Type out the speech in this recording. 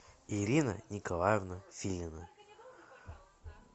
ирина николаевна филина